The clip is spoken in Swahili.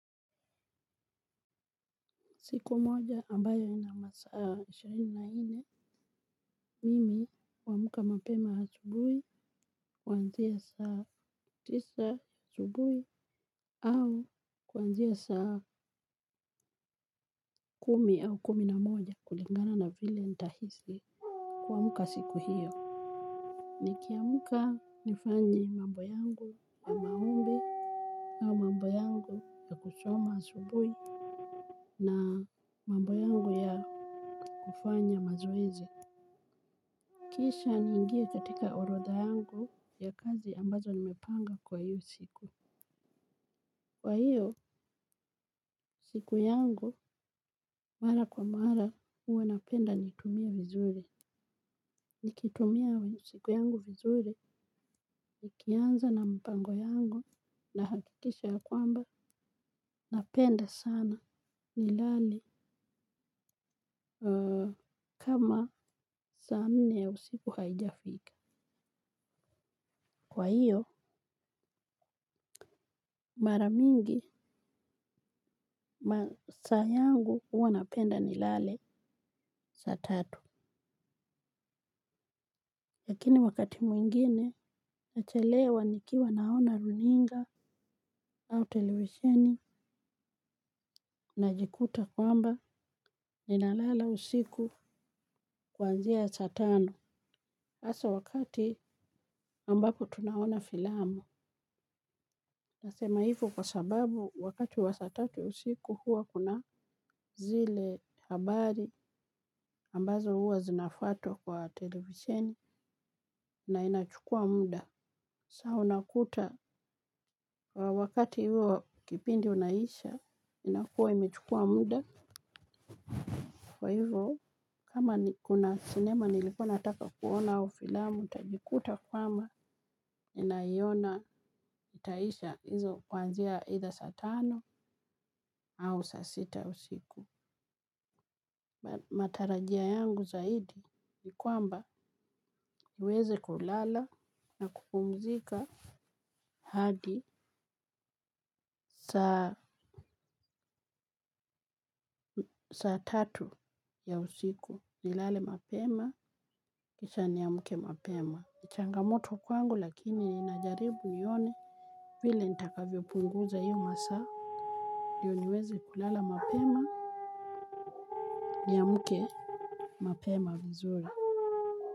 Siku moja ambayo ina masaa ishirini na nne mimi huamka mapema asubuhi kuanzia saa tisa asubuhi au kuanzia saa kumi au kumi na moja kulingana na vile nitahisi. Kuamka siku hiyo nikiamka nifanye mambo yangu ya maombi au mambo yangu ya kusoma asubuhi na mambo yangu ya kufanya mazoezi kisha niingie katika orodha yangu ya kazi ambazo nimepanga kwa hio siku. Kwa hiyo, siku yangu, mara kwa mara, huwa napenda niitumie vizuri. Nikitumia siku yangu vizuri, nikianza na mpango yangu, na hakikisha ya kwamba, napenda sana nilale kama saa nne ya usiku haijafika. Kwa hiyo mara mingi masaa yangu huwa napenda nilale saa tatu. Lakini wakati mwingine nachelewa nikiwa naona runinga au televisheni najikuta kwamba ninalala usiku kuanzia saa tano. Hasa wakati ambapo tunaona filamu. Nasema hivo kwa sababu wakati wa saa tatu usiku huwa kuna zile habari ambazo huwa zinafuatwa kwa televisheni na inachukua muda. Saa unakuta wakati huo kipindi unaisha inakuwa imechukua muda kwa hivo kama ni kuna sinema nilikuwa nataka kuona au filamu nitajikuta kwamba ninaiona itaisha hizo kuanzia aidha saa tano au saa sita usiku. Matarajio yangu zaidi ni kwamba niweze kulala na kupumzika hadi saa tatu ya usiku nilale mapema kisha niamke mapema. Ni changamoto kwangu lakini ninajaribu nione vile nitakavyopunguza iyo masaa ndio niweze kulala mapema niamke mapema vizuri.